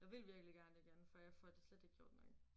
Jeg vil virkelig gerne igen for jeg får det slet ikke gjort nok